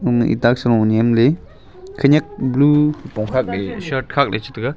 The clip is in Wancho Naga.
mihtak salu nyemley khanyak blue khupong khakley shirt khakley chitaiga.